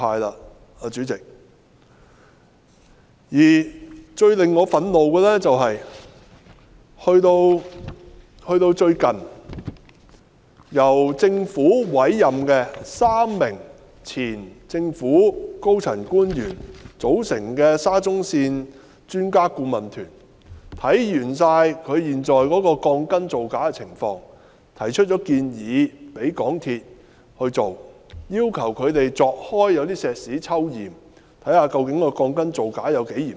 代理主席，最令我感到憤怒的是，最近由政府委任3名前政府高層官員組成的沙田至中環線項目專家顧問團，完成檢視現時鋼筋造假的情況後，曾向港鐵公司提出建議，要求他們鑿開混凝土抽驗，確定鋼筋造假的情況有多嚴重。